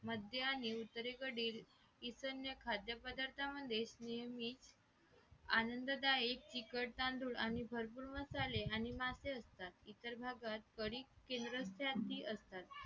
मध्ये आणि उत्तरेकडील ईशान्य खाद्यपदार्थांमधील नेहमी आनंददायी आणि तिखट तांदूळ आणि भरपूर मसाले आणि मासे असतात इतर भागात कणिक तेलकट जास्ती असतात